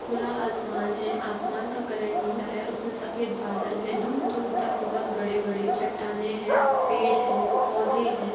खुला आसमान है। आसमान का कलर नीला है। उसमें सफ़ेद बादल है। दूर दूर तक बहुत बड़े बड़े चट्टानें हैं। पेड़ हैं। पौधे हैं।